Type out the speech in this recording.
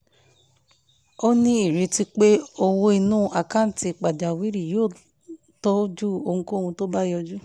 ó ní ìrètí pé owó inú àkáǹtì ìpajawìrì yóò tọ́jú ohunkóhun tó bá yọjú